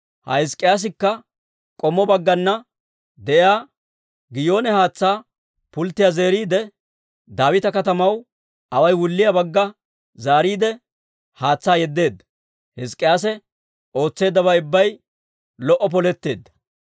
Ha Hizk'k'iyaasikka k'ommo baggana de'iyaa Giyoone haatsaa pulttiyaa zeeriide, Daawita Katamaw away wulliyaa bagga zaariide, haatsaa yeddeedda. Hizk'k'iyaase ootseeddabay ubbay lo"o poletteedda.